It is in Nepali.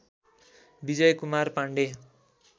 विजयकुमार पाण्डे